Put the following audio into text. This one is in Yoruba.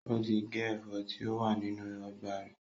Ó ti gé ẹ̀fọ́ tí ó wà nínú ọgbà rẹ̀